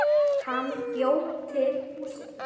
Hann bjó til húsið.